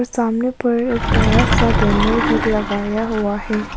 सामने पर एक बड़ा सा बैनर भी लगाया हुआ है।